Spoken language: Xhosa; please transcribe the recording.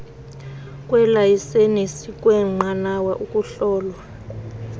kweelayisenisi kweenqanawa ukuhlolwa